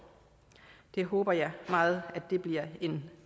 det håber jeg meget bliver en